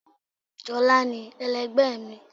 sholá ní, elẹgbẹ mi